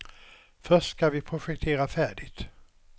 Först skall vi projektera färdigt.